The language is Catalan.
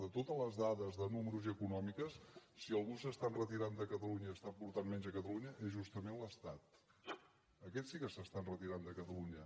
de totes les dades de números i econòmiques si algú s’està enretirant de catalunya i està aportant menys a catalunya és justament l’estat aquest sí que s’està enretirant de catalunya